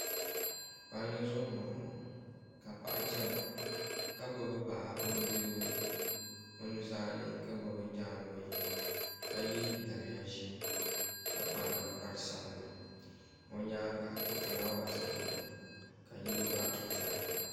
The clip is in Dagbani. Palli zuɣu n boŋo ka paɣa chana ka gbubi baa o nudirigu ni o nuzaa ka gbubi jaangbee ka yɛ daliya ʒiɛ ka kpa ninkpari sabinli o nyaanga ka fulaawaasi biɛni ka yili gba ʒɛya